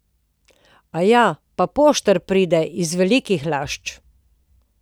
Aja, pa poštar pride, iz Velikih Lašč.